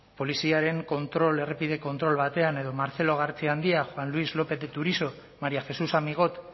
poliziaren errepide kontrol batean edo marcelo gartziandia juan luis lópez de turiso maría jesús amigot